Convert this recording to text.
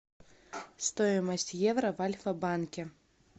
стоимость евро в альфа банке